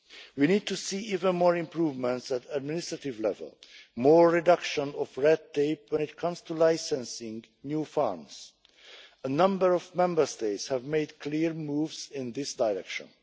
We need to see even more improvements at administrative level more reduction of red tape when it comes to licensing new farms a number of Member States have made clear moves in this direction.